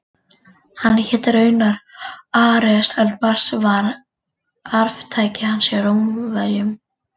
Hann hét raunar Ares en Mars var arftaki hans hjá Rómverjum.